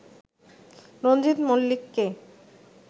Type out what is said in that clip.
রঞ্জিত মলি্লককে